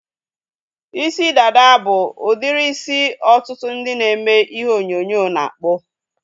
Isi dada bụ udiri isi ọtụtụ ndị na-eme ihe onyonyo na-akpụ